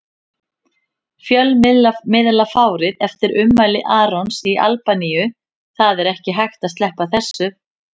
Fjölmiðlafárið eftir ummæli Arons í Albaníu Það er ekki hægt að sleppa þessu.